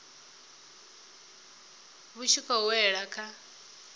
vhu tshi khou wela kha